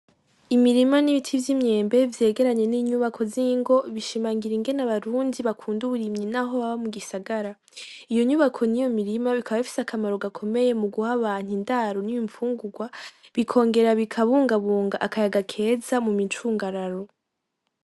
Imirima n'ibiti vyimyembe vyegeranye ninyubako zingo bishimangira ingene abarundi bakunda uburimyi naho baba mu gisagara. Iyo nyubako niyo mirima bikaba bifise akamaro gakomeye mu guha abantu indaro n'imfungugwa bikongera bikabungabunga akayaga keza mu micungararo.